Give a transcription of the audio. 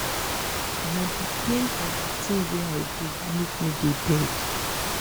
na di pain of di tin wey i do make me dey beg.